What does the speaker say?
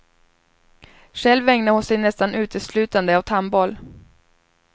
Själv ägnar hon sig nästan uteslutande åt handboll.